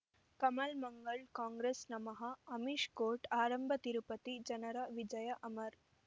ಕಮಲ್ ಮಂಗಳ್ ಕಾಂಗ್ರೆಸ್ ನಮಃ ಅಮಿಷ್ ಕೋರ್ಟ್ ಆರಂಭ ತಿರುಪತಿ ಜನರ ವಿಜಯ ಅಮರ್